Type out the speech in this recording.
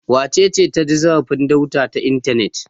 Wace ce ta ci zarafin Dauda ta intanet?